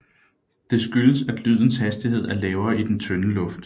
Det skyldes at lydens hastighed er lavere i den tynde luft